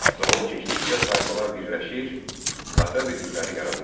Zaman keçdikcə tayfalar birləşir, tayfa birlikləri yaranırdı.